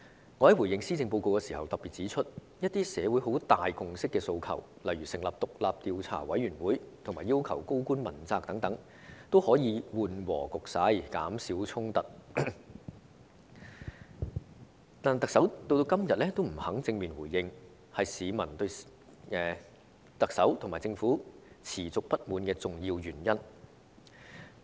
我在回應施政報告時曾特別指出，一些社會有很大共識的訴求，例如成立獨立調查委員會和要求高官問責等，均可緩和局勢、減少衝突，但特首至今仍不肯正面回應，這是市民對特首和政府持續不滿的重要原因。